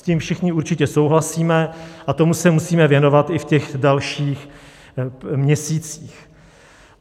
S tím všichni určitě souhlasíme a tomu se musíme věnovat i v těch dalších měsících.